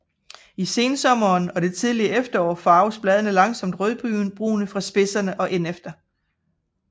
I sensommeren og det tidlige efterår farves bladene langsomt rødbrune fra spidserne og ind efter